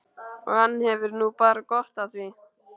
Og hann hefur nú bara gott af því.